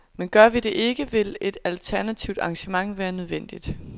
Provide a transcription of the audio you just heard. Men gør vi det ikke, vil et alternativt arrangement være nødvendigt.